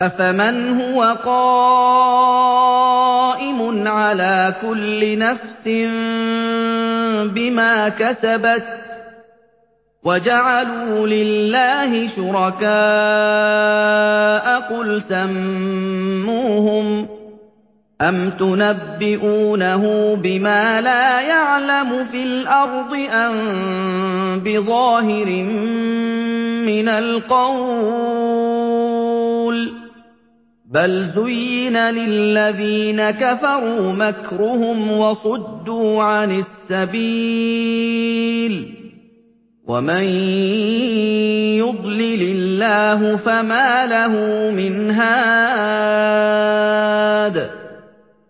أَفَمَنْ هُوَ قَائِمٌ عَلَىٰ كُلِّ نَفْسٍ بِمَا كَسَبَتْ ۗ وَجَعَلُوا لِلَّهِ شُرَكَاءَ قُلْ سَمُّوهُمْ ۚ أَمْ تُنَبِّئُونَهُ بِمَا لَا يَعْلَمُ فِي الْأَرْضِ أَم بِظَاهِرٍ مِّنَ الْقَوْلِ ۗ بَلْ زُيِّنَ لِلَّذِينَ كَفَرُوا مَكْرُهُمْ وَصُدُّوا عَنِ السَّبِيلِ ۗ وَمَن يُضْلِلِ اللَّهُ فَمَا لَهُ مِنْ هَادٍ